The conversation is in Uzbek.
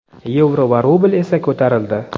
yevro va rubl esa ko‘tarildi.